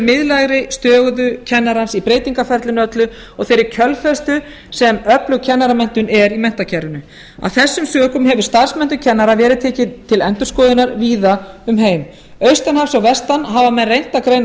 miðlægri stöðu kennarans í breytingaferlinu öllu og þeirri kjölfestu sem öflug kennaramenntun er í menntakerfinu að þessum sökum hefur starfsmenntun kennara verið til endurskoðunar víða um heim austan hafs og vestan hafa menn reynt að greina